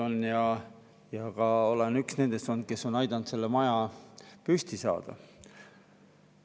Olen olnud ka üks nendest, kes on aidanud selle maja püsti saada.